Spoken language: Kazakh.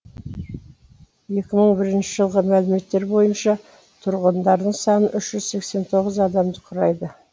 екі мың бірінші жылғы мәліметтер бойынша тұрғындарының саны үш жүз сексен тоғыз адамды құрайды